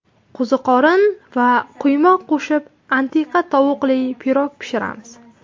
Qo‘ziqorin va quymoq qo‘shib antiqa tovuqli pirog pishiramiz.